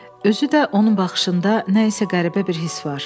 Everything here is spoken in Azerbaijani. Özü də onun baxışında nə isə qəribə bir hiss var.